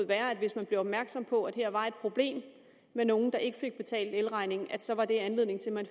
være at hvis man blev opmærksom på at her var der et problem med nogle der ikke fik betalt elregningen så var det anledning til at man